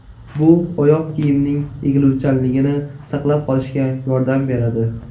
Bu oyoq kiyimning egiluvchanligini saqlab qolishga yordam beradi.